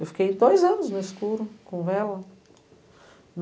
Eu fiquei dois anos no escuro, com vela.